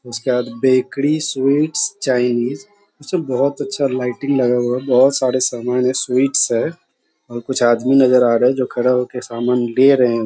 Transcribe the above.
उसके बाद bakery sweets Chinese इसमें बहुत अच्छा लाइटिंग लगा हुआ है बहुत सारे सामन है स्वीट्स हैं और कुछ आदमी नज़र आ रहे हैं जो खड़ा हो कर सामान ले रहे हैं।